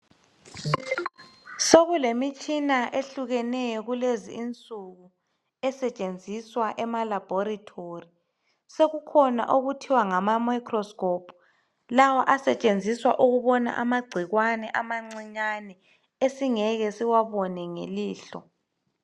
Sokulemitshina ehlukeneyo kulezi insuku esetshenziswa emalaboratory. Sokukhona okuthiwa ngama microscope lawo asetshenziswa ukubona amagcikwane amancinyane esingeke siwabone ngelihlo .